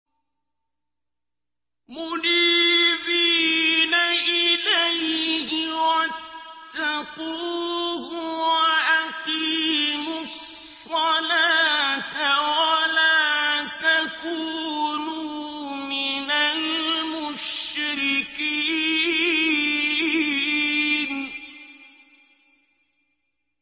۞ مُنِيبِينَ إِلَيْهِ وَاتَّقُوهُ وَأَقِيمُوا الصَّلَاةَ وَلَا تَكُونُوا مِنَ الْمُشْرِكِينَ